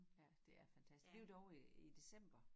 Ja det er fantastisk vi var derovre i december